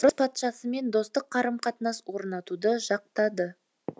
орыс патшасымен достық қарым қатынас орнатуды жақтады